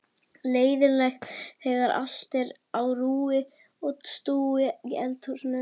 Leiðinlegt þegar allt er á rúi og stúi í eldhúsinu.